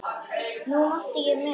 Nú átti ég mig.